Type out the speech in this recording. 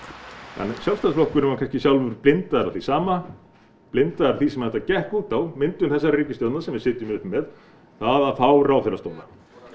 en Sjálfstæðisflokkurinn var kannski blindaður af því sama blindaður af því sem þetta gekk út á myndun ríkisstjórnarinnar sem við sitjum uppi með að fá ráðherrastóla